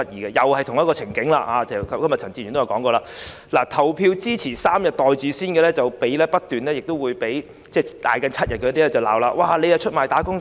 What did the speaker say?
正如陳志全議員也提到，情景與現時一樣，投票支持3天"袋住先"的議員不斷被叫價7天的議員指責為出賣"打工仔"。